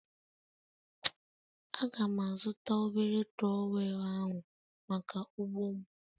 Aga'm azụta obere trowel ahụ maka ugbo m.